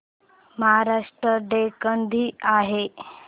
Maharashtra day कधी आहे